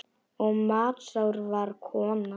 Og matsár var konan.